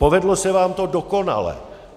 Povedlo se vám to dokonale.